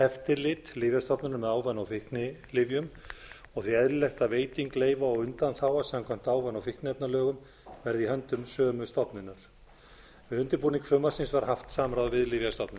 eftirlit lyfjastofnunar með ávana og fíknilyfjum og því eðlilegt að veiting leyfa og undanþága samkvæmt ávana og fíkniefnalögum verði í höndum sömu stofnunar við undirbúning frumvarpsins var haft samráð við lyfjastofnun